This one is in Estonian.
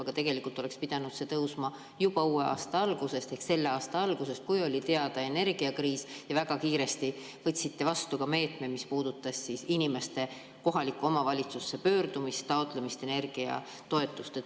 Aga tegelikult oleks pidanud see tõusma juba uue aasta ehk selle aasta algusest, kui oli teada, et on energiakriis, ja te väga kiiresti võtsite meetme, mis puudutas inimeste kohalikku omavalitsusse pöördumist, energiatoetuse taotlemist.